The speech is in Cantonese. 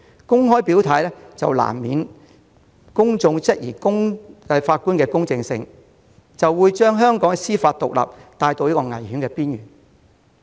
公開表態難免會令公眾質疑法官的公正性，將香港的司法獨立帶到危險邊緣。